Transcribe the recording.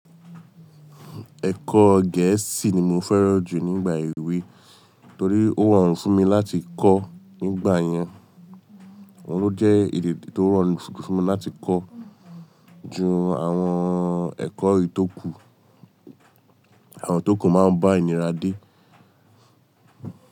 Ẹ̀kọ́ Gẹ̀ẹ́sì ni mo fẹ́ràn jù nígbà èwe torí ó rorun fún mi láti kọ́ nígbà yẹn. Òun ló jẹ́ èdè tí ó rorun fún mi láti kọ́ ju àwọn ẹ̀kọ́ èyi tò kù. Àwọn tókù máa ń bá ìnira dé.